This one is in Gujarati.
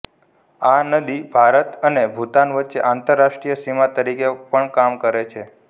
આ નદી ભારત અને ભૂતાન વચ્ચે આંતરરાષ્ટીય સીમા તરીકે પણ કામ કરે છે